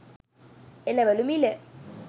එළවළු මිල